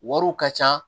Wariw ka ca